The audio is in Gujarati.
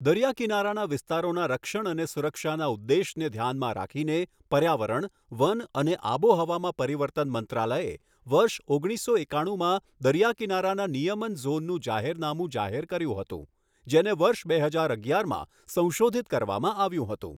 દરિયાકિનારાના વિસ્તારોના રક્ષણ અને સુરક્ષાના ઉદ્દેશને ધ્યાનમાં રાખીને પર્યાવરણ, વન અને આબોહવામાં પરિવર્તન મંત્રાલયે વર્ષ ઓગણીસો એકાણુંમાં દરિયાકિનારાના નિયમન ઝોનનું જાહેરનામું જાહેર કર્યું હતું, જેને વર્ષ બે હજાર અગિયારમાં સંશોધિત કરવામાં આવ્યું હતું.